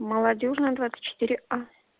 молодёжная двадцать четыре а